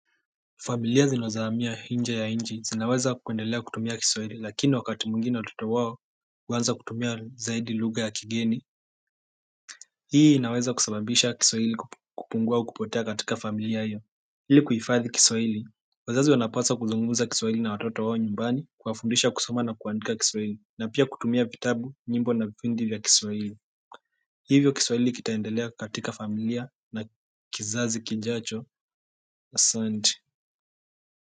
Familia zinozo hamia inje ya inchi zinaweza kuendelea kutumia kiswahili lakini wakati mwingine watoto wao huanza kutumia zaidi lugha ya kigeni Hii inaweza kusababisha kiswahili kupungua au kupotea katika familia hio ili kuhifadhi kiswahili wazazi wanapaswa kuzungumza kiswahili na watoto wao nyumbani kuwafundisha kusoma na kuandika kiswahili na pia kutumia vitabu nyimbo na vipindi vya kiswahili hivyo kiswahili kitaendelea katika familia na kizazi kijacho asante.